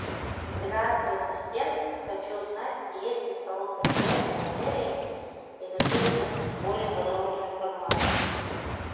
здравствуй ассистент хочу узнать есть ли салоны связи в отеле и хочу узнать более подробную информацию